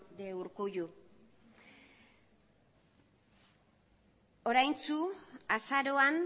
de urkullu oraintxu azaroan